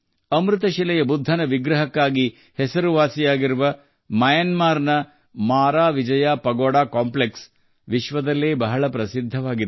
ಅಮೃತಶಿಲೆಯ ಬುದ್ಧನ ಪ್ರತಿಮೆಗೆ ಹೆಸರುವಾಸಿಯಾದ ಮ್ಯಾನ್ಮಾರ್ನ ಮಾರವಿಜಯ ಪಗೋಡಾ ಕಾಂಪ್ಲೆಕ್ಸ್ ಜಗತ್ಪ್ರಸಿದ್ಧವಾಗಿದೆ